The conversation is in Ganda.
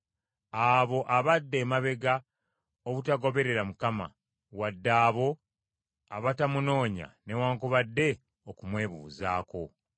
abo abadda emabega obutagoberera Mukama , wadde abo abatamunoonya newaakubadde okumwebuuzaako.